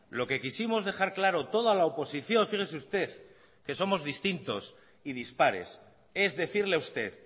lo que quisimos dejar claro toda la oposición fíjese usted que somos distintos y dispares es decirle a usted